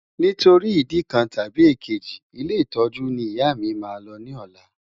Nítorí ìdí kan tàbí èkejì, ilé ìtọ́jú ni ìyá mi máa lọ ní ọ̀la.